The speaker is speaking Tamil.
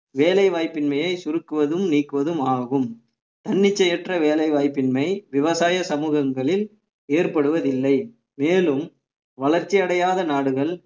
வேலை வாய்ப்பின்மையை சுருக்குவதும் நீக்குவதும் ஆகும் தன்னிச்சையற்ற வேலை வாய்ப்பின்மை விவசாய சமூகங்களில் ஏற்படுவதில்லை மேலும் வளர்ச்சி அடையாத நாடுகள்